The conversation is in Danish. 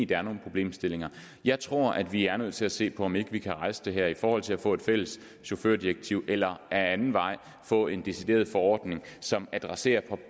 der er nogle problemstillinger jeg tror at vi er nødt til at se på om ikke vi kan rejse det her i forhold til at få et fælles chaufførdirektiv eller ad anden vej få en decideret forordning som adresserer